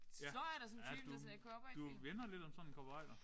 Ja ja du du minder lidt om sådan en cowboyder